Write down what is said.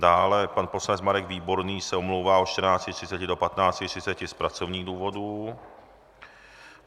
Dále pan poslanec Marek Výborný se omlouvá od 14.30 do 15.30 z pracovních důvodů.